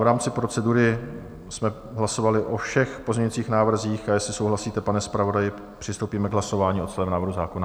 V rámci procedury jsme hlasovali o všech pozměňujících návrzích, a jestli souhlasíte, pane zpravodaji, přistoupíme k hlasování o celém návrhu zákona.